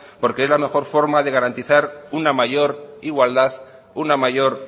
porque es la mejor forma de garantiza una mayor igualdad una mayor